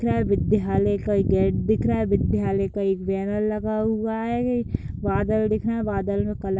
दिख रहा है विद्यालय का गेट दिख रहा है विद्यालय का एक बैनर लगा हुआ है बादल दिख रहे है बादल मे कलर --